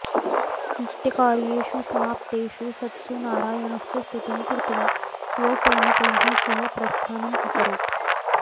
नित्यकार्येषु समाप्तेषु सत्सु नारायणस्य स्तुतिं कृत्वा स्वसैनिकैः सह प्रस्थानम् अकरोत्